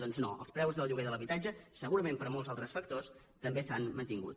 doncs no els preus del lloguer de l’habitatge segurament per molts altres factors també s’han mantingut